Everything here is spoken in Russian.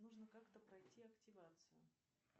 нужно как то пройти активацию